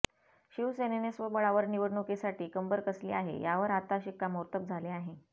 शिवसेनेने स्वबळावर निवडणुकीसाठी कंबर कसली आहे यावर आत्ता शिक्कामोर्तब झाले आहे